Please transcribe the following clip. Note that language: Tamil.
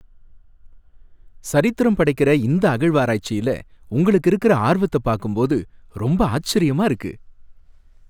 சரித்திரம் படைக்கிற இந்த அகழ்வாராய்ச்சில உங்களுக்கு இருக்குற ஆர்வத்தை பாக்கும் போது ரொம்ப ஆச்சரியமா இருக்கு!